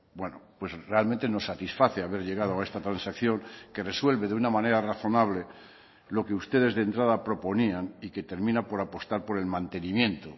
bueno pues realmente nos satisface haber llegado a esta transacción que resuelve de una manera razonable lo que ustedes de entrada proponían y que termina por apostar por el mantenimiento